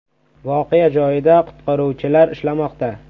Voqea joyida qutqaruvchilar ishlamoqda.